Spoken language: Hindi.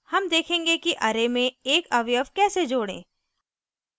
हम देखेंगे कि array में एक अवयव कैसे जोड़ें